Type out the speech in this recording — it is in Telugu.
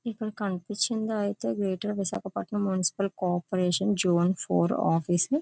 ఇక్కడ కనిపిస్తుంది అయితే greater Visakhapatnam municipal corporation zone four office .